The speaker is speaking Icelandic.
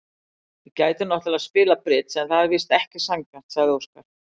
Við gætum náttúrlega spilað bridds en það væri víst ekki sanngjarnt, sagði Óskar.